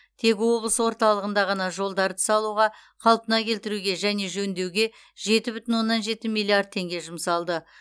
тек облыс орталығында ғана жолдарды салуға қалпына келтіруге және жөндеуге жеті бүтін оннан жеті миллиард теңге жұмсалды